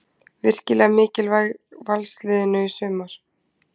Virkilega mikilvæg Valsliðinu í sumar.